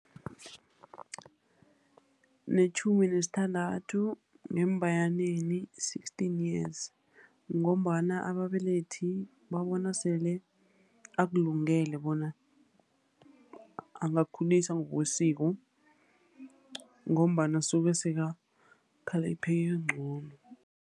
Netjhumi nesithandathu ngeembayaneni sixteen years, ngombana ababelethi babona sele akulungele bona angakakhuliswa ngokwesiko, ngombana usuke sekakhaliphe ingqondo.